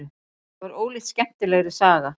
Það var ólíkt skemmtilegri saga.